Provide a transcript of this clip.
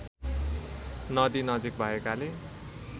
नदी नजिक भएकाले